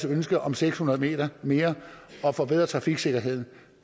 ønske om seks hundrede meter mere og forbedre trafiksikkerheden